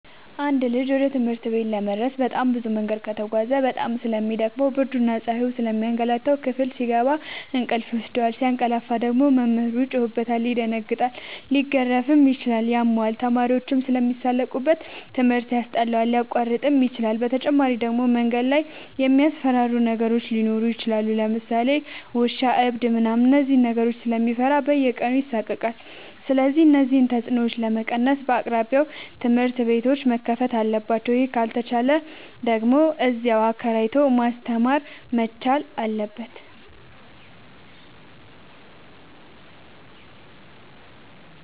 አንድ ልጅ ወደ ትምህርት ቤት ለመድረስ በጣም ብዙ መንገድ ከተጓዘ በጣም ስለሚ ደክመው ብርድና ፀሀዩ ስለሚያገላታው። ክፍል ሲገባ እንቅልፍ ይወስደዋል። ሲያቀላፍ ደግሞ መምህሩ ይጮህበታል ይደነግጣል ሊገረፍም ይችላል ያመዋል፣ ተማሪዎችም ስለሚሳለቁበት ትምህርት ያስጠላዋል፣ ሊያቋርጥም ይችላል። በተጨማሪ ደግሞ መንገድ ላይ የሚያስፈራሩ ነገሮች ሊኖሩ ይችላሉ ለምሳሌ ውሻ እብድ ምናምን እነዚህን ነገሮች ስለሚፈራ በየቀኑ ይሳቀቃል። ስለዚህ እነዚህን ተፅኖዎች ለመቀነስ በየአቅራቢያው ትምህርት ቤቶዎች መከፈት አለባቸው ይህ ካልተቻለ ደግሞ እዚያው አከራይቶ ማስተማር መቻል አለበት።